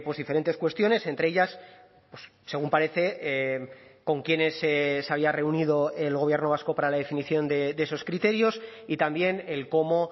diferentes cuestiones entre ellas según parece con quiénes se había reunido el gobierno vasco para la definición de esos criterios y también el cómo